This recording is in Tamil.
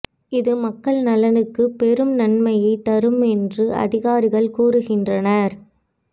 இது மக்கள் நலனுக்கு பெரும் நன்மையைத் தரும் என்று அதிகாரிகள் கூறுகின்றனர்